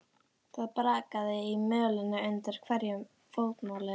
Það brakaði í mölinni undir hverju fótmáli hennar.